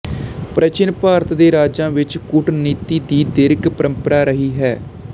ਪ੍ਰਾਚੀਨ ਭਾਰਤ ਦੇ ਰਾਜਾਂ ਵਿੱਚ ਕੂਟਨੀਤੀ ਦੀ ਦੀਰਘ ਪਰੰਪਰਾ ਰਹੀ ਹੈ